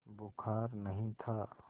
बुखार नहीं था